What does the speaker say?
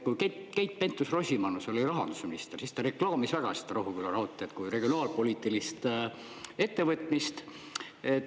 Kui Keit Pentus-Rosimannus oli rahandusminister, siis ta reklaamis väga seda Rohuküla raudteed kui regionaalpoliitilist ettevõtmist.